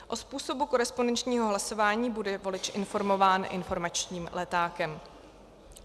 O způsobu korespondenčního hlasování bude volič informován informačním letákem.